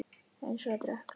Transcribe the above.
Eins og að drekka vatn.